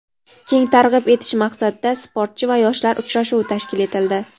keng targ‘ib etish maqsadida "Sportchi va yoshlar" uchrashuvi tashkil etildi.